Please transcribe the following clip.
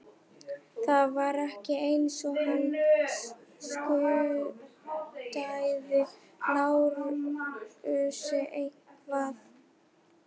Það var ekki eins og hann skuldaði Lárusi eitthvað.